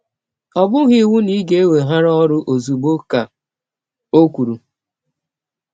Ọ bụghị iwụ na ị ga - eweghara ọrụ ọzụgbọ, ka ọ kwụrụ.